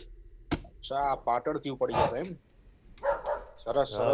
અચ્છા પાટણ ઉપર થી જ્યતા એમ સરસ સરસ